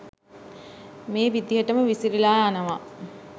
මේ විදිහටම විසිරිලා යනවා